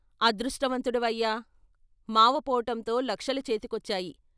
అదృష్టవంతుడివయ్యా మావ పోవటంతో లక్షలు చేతికొచ్చాయి.